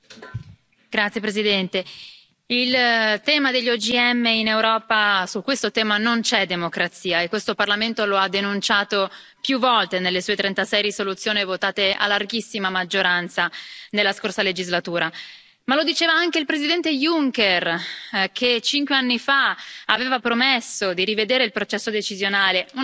Signor Presidente, onorevoli colleghi, sul tema degli OGM in Europa non c'è democrazia e questo Parlamento lo ha denunciato più volte nelle sue 36 risoluzioni votate a larghissima maggioranza nella scorsa legislatura. Lo diceva anche il Presidente Juncker, che cinque anni fa aveva promesso di rivedere il processo decisionale.